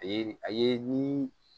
A ye a ye ni